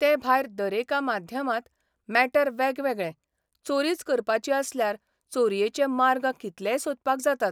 ते भायर दरेका माध्यमांत मॅटर वेगवेगळें चोरीच करपाची आसल्यार चोरयेचे मार्ग कितलेय सोदपाक जातात.